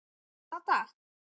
Hvaða dag?